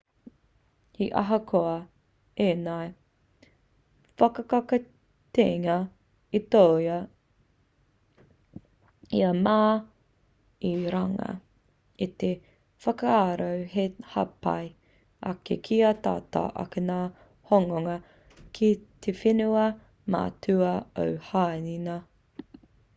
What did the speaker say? he ahakoa ēnei whakakitenga i toa i a ma i runga i te whakaaro hei hāpai ake kia tata ake ngā hononga ki te whenua matua o hāina